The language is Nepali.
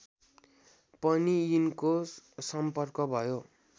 पनि यिनको सम्पर्क भयो